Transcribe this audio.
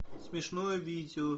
смешное видео